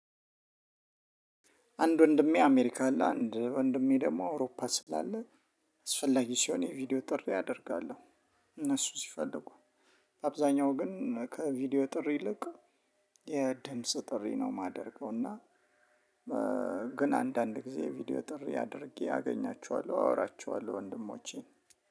አንድ ወንድሜ አሜሪካ አለ አንድ ወንድሜ ደግሞ አውሮፓ ስላለ አስፈላጊ ሲሆን የቪዲዮ ጥሪ ያደርጋለሁ። እነሱ ሲፈልጉ አብዛኛው ግን ከቪዲዮ ጥሪ ይልቅ የድምጽ ጥሪ ነው የማደርገው። እና ግን አንዳንድ ጊዜ ቪዲዮ ጥሪ አድርጌ አገኛቸዋለሁ አወራቸዋለሁ። ወንድሞቼን